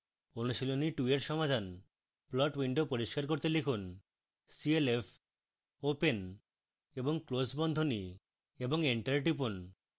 অনুশীলনী 2 এর সমাধান